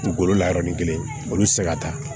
Dugukolo la yɔrɔ nin kelen olu ti se ka taa